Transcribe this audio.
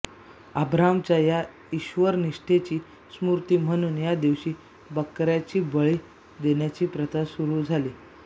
अब्राहामच्या या ईश्वरनिष्ठेची स्मृती म्हणून या दिवशी बकऱ्याचा बळी देण्याची प्रथा सुरू झाली